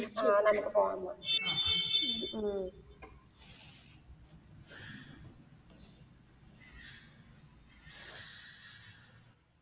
ആ നമുക്ക് പോവാം പോവാം.